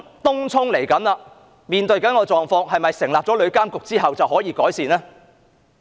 東涌即將面對的狀況，是否成立旅監局後便可以改善呢？